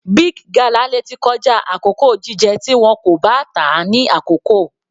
Big gala lè tí kọjá àkókò jíjẹ tí wọn kò bá tà á ní àkókò.